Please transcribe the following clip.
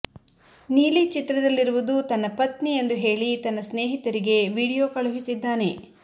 ನೀಲಿ ಚಿತ್ರದಲ್ಲಿರುವುದು ತನ್ನ ಪತ್ನಿ ಎಂದು ಹೇಳಿ ತನ್ನ ಸ್ನೇಹಿತರಿಗೆ ವಿಡಿಯೋ ಕಳುಹಿಸಿದ್ದಾನೆ